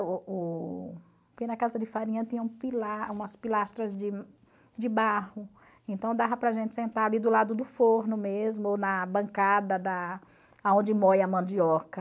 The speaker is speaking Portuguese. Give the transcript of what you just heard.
Porque na casa de farinha tinham pila umas pilastras de de barro, então dava para a gente sentar ali do lado do forno mesmo, ou na bancada da aonde moí a mandioca.